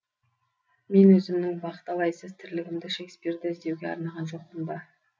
мен өзімнің бақталайсыз тірлігімді шекспирді іздеуге арнаған жоқпын ба